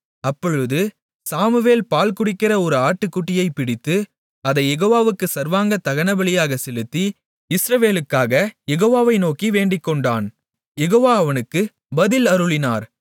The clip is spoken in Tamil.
அப்பொழுது சாமுவேல் பால்குடிக்கிற ஒரு ஆட்டுக்குட்டியைப் பிடித்து அதைக் யெகோவாவுக்குச் சர்வாங்க தகனபலியாகச் செலுத்தி இஸ்ரவேலுக்காகக் யெகோவாவை நோக்கி வேண்டிக்கொண்டான் யெகோவா அவனுக்கு பதில் அருளினார்